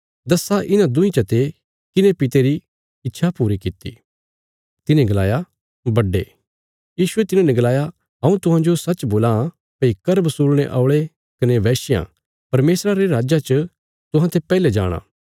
दस्सा इन्हां दुईं चते किने पिता री इच्छा पूरी किति तिन्हे गलाया बड्डे यीशुये तिन्हाने गलाया हऊँ तुहांजो सच्च बोलां भई कर बसूलणे औल़े कने वेश्यां परमेशरा रे राज्जा च तुहांते पैहले जाणा